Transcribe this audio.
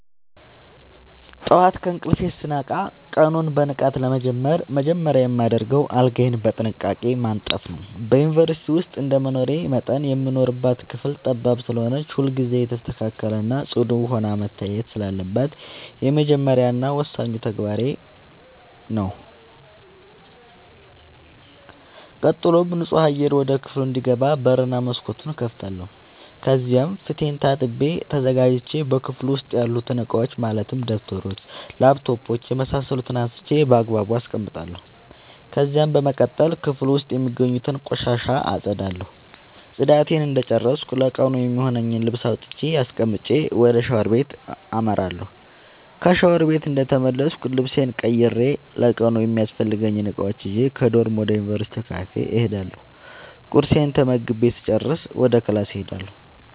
ጠዋት ከእንቅልፌ ስነቃ ቀኑን በንቃት ለመጀመር መጀመሪያ የማደርገው አልጋዬን በጥንቃቄ ማንጠፍ ነዉ። በዩንቨርስቲ ዉስጥ እንደመኖሬ መጠን የምንኖርባት ክፍል ጠባብ ስለሆነች ሁልጊዜ የተስተካከለ እና ፅዱ ሆና መታየት ስላለባት የመጀመሪያ እና ወሳኙ ተግባሬ ተግባሬ ነዉ። ቀጥሎም ንፁህ አየር ወደ ክፍሉ እንዲገባ በር እና መስኮት እከፍታለሁ ከዚያም ፊቴን ታጥቤ ተዘጋጅቼ በክፍሉ ዉስጥ ያሉትን እቃዎች ማለትም ደብተሮች: ላፕቶፕ የምሳሰሉትን አንስቼ ባግባቡ አስቀምጣለሁ። ከዚያም በመቀጠል ክፍሉ ዉስጥ የሚገኙትን ቆሻሻ አፀዳለሁ ፅዳቴን እንደጨረስኩ ለቀኑ የሚሆነኝን ልብስ አውጥቼ አስቀምጬ ወደ ሻወር ቤት አመራለሁ። ከሻወር ቤት እንደተመለስኩ ልብሴን ቀይሬ ለቀኑ የሚያስፈልጉኝን እቃዎች ይዤ ከዶርም ወደ ዩንቨርስቲው ካፌ እሄዳለሁ ቁርሴን ተመግቤ ስጨርስ ወደ ክላስ እሄዳለሁ።